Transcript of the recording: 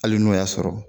Hali n'o y'a sɔrɔ